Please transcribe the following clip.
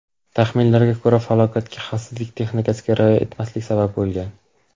Taxminlarga ko‘ra, falokatga xavfsizlik texnikasiga rioya etmaslik sabab bo‘lgan.